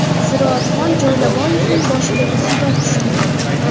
Ziroatxon Joylaboyevaning boshiga musibat tushdi.